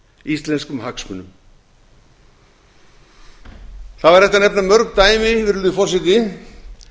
íslenskum hagsmunum það væri hægt að nefna mörg dæmi virðulegi forseti